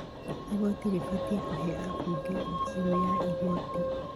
Igoti rĩbatiĩ kũhe ambunge birũ ya igoti